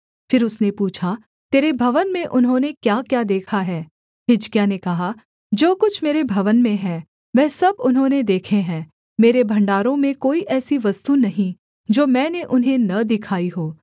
फिर उसने पूछा तेरे भवन में उन्होंने क्याक्या देखा है हिजकिय्याह ने कहा जो कुछ मेरे भवन में है वह सब उन्होंने देखे है मेरे भण्डारों में कोई ऐसी वस्तु नहीं जो मैंने उन्हें न दिखाई हो